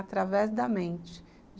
Através da mente.